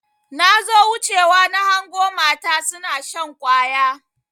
Nazo wuce wa nahango mata suna shan ƙwaya.